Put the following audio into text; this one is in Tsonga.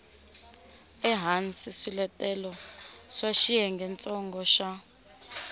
ehansi swiletelo swa xiyengentsongo xa